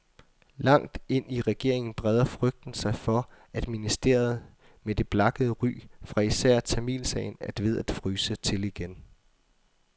Langt ind i regeringen breder frygten sig for, at ministeriet med det blakkede ry fra især tamilsagen er ved at fryse til igen.